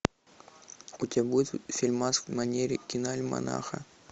у тебя будет фильмас в манере киноальманаха